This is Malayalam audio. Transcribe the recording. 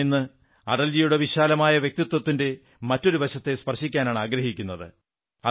ഞാൻ ഇന്ന് അടൽജിയുടെ വിശാലമായ വ്യക്തിത്വത്തിന്റെ മറ്റൊരു വശത്തെ സ്പർശിക്കാനാണാഗ്രഹിക്കുന്നത്